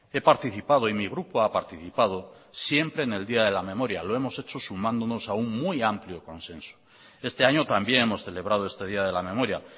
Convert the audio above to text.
he participado y mi grupo ha participado siempre en el día de la memoria lo hemos hecho sumándonos a un muy amplio consenso este año también hemos celebrado este día de la memoria